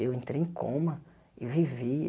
Eu entrei em coma e vivi.